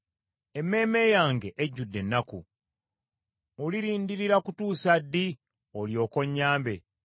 Emmeeme yange ejjudde ennaku. Olirindirira kutuusa ddi olyoke onnyambe?